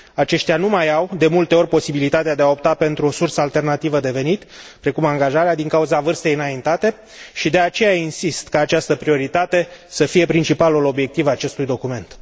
Aceștia nu mai au de multe ori posibilitatea de a opta pentru o sursă alternativă de venit, precum angajarea, din cauza vârstei înaintate și, de aceea, insist ca această prioritate să fie principalul obiectiv al acestui document.